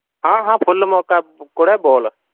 ਹਾਂ ਹਾਂ full ਮੌਕਾ ਕੁੜੇ ਬੋਲ